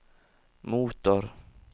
motor